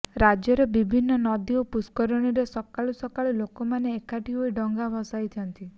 ରାଜ୍ୟର ବିଭିନ୍ନ ନଦୀ ଓ ପୁଷ୍କରଣୀରେ ସକାଳୁ ସକାଳୁ ଲୋକମାନେ ଏକାଠି ହୋଇ ଡଙ୍ଗା ଭସାଇଛନ୍ତି